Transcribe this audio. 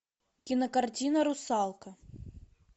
кинокартина русалка